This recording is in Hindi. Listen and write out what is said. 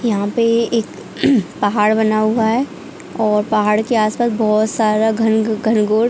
यहा पे एक पहाड़ बना हुआ है और पहाड़ के आस पास बहुत सारा घंग घनघोर--